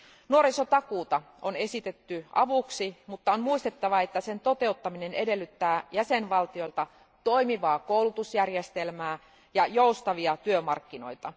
Nuorisotakuuta on esitetty avuksi, mutta on muistettava, että sen toteuttaminen edellyttää jäsenvaltioilta toimivaa koulutusjärjestelmää ja joustavia työmarkkinoita.